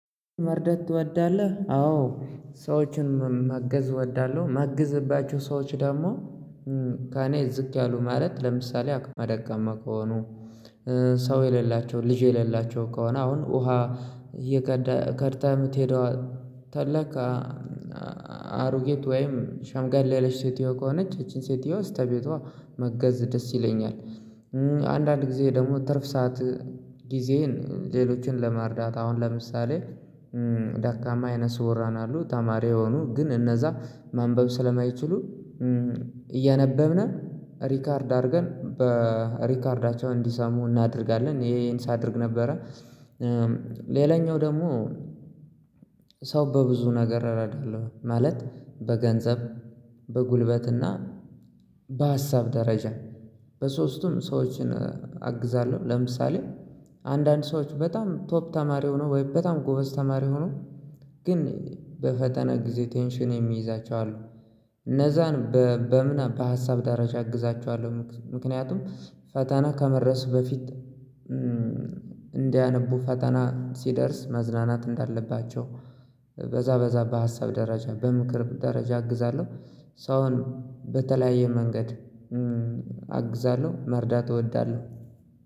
መርደት ትወዳለህ? አዎ ሰዎችን ማገዝ እወዳለሁ ማግዝባቸው ሰዎች ደግሞ ከኔ ዝቅ ያሉ ማለት ለምሳሌ አቅመ ደካማ ከሆኑ ሰው የሌላቸው ልጅ የሌላቸው ከሆነ አሁን ውሃ እየቀዳ ቀድታ የምትሄደው ካለ አሮጊት ወይም ሻምገል ለለሽ ሴትዮ ከሆነች ይቺን ሴትዮ ስተቤቷ ማገዝ ደስ ይለኛል። አንዳንድ ጊዜ ደግሞ ትርፍ ሰዓት ጊዜዬን ሌሎችን ለማርዳት አሁን ለምሳሌ ደካማ አይነ ስዉራን አሉ ተማሪ የሆኑ ግን እነዛ ማንበብ ስለማይችሉ እያነበብን ሪካርድ አድርገን በሪከርዳቸው እንዲሰሙ እናደርጋለን ይሄንን ሳደርግ ነበረ ሌላኛው ደግሞ ሰው በብዙ ነገር እረዳለሁ ማለት በገንዘብ በጉልበትና በሀሳብ ደረጃ በሶስቱም ሰዎችን አግዛለሁ ለምሳሌ አንዳንድ ሰዎች በጣም ቶፕ ተማሪ ሆኖ ወይም በጣም ጎበዝ ተማሪ ሆነው ግን በፈተና ጊዜ ቴንሽን የሚይዛቸው አሉ እነዛን በምን በሀሳብ ደረጃ አግዛቸዋለሁ ምክንያቱም ፈተና ከመድረስ በፊት እንዲያነቡ ፈተና ሲደርስ መዝናናት እንዳለባቸው በዛ በዛ በሀሳብ ደረጃ በምክር ደረጃ አግዛለሁ ሰውን በተለያየ መንገድ አግዛለሁ መርዳት እወዳለሁ።